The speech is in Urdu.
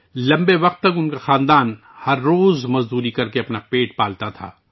لمبے عرصے تک ان کی فیملی یومیہ مزدور کے طور پر کام کرکے اپنا پیٹ پالتی تھی